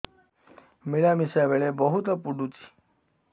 ମିଳାମିଶା ବେଳେ ବହୁତ ପୁଡୁଚି